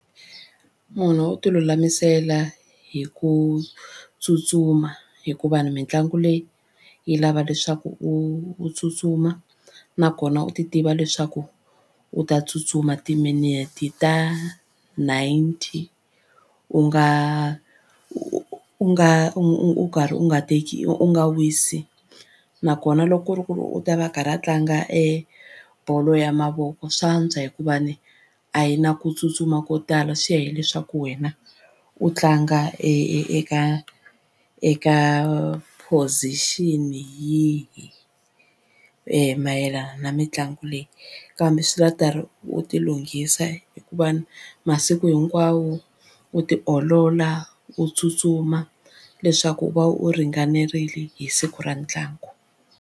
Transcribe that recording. Munhu u tilulamisela hi ku tsutsuma hikuva ni mitlangu leyi yi lava leswaku u u tsutsuma nakona u titiva leswaku u ta tsutsuma timinete ta ninety u nga u nga u karhi u nga teki u nga wisi nakona loko ku ri ku u ta va a karhi a tlanga e bolo ya mavoko swa antswa hikuva ni a yi na ku tsutsuma ko tala swi ya hileswaku wena u tlanga e eka eka position yihi mayelana na mitlangu leyi kambe swi lava u karhi u tilunghisa hikuva masiku hinkwawo u tiolola u tsutsuma leswaku u va u ringanerile hi siku ra ntlangu.